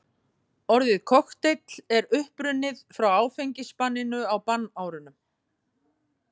Orðið kokteill er upprunnið frá áfengisbanninu á bannárunum.